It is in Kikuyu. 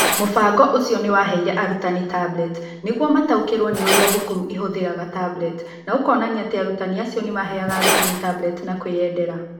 Mũbango ũcio nĩ waheire arutani tablet nĩguo mataũkĩrũo nĩ ũrĩa thukuru ihũthagĩra tablet, na ũkonania atĩ arutani acio nĩ maaheaga arutani tablet na kwĩyendera.